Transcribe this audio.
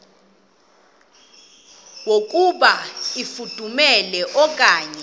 yokuba ifudumele okanye